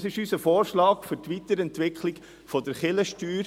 Dies ist unser Vorschlag für die Weiterentwicklung der Kirchensteuer.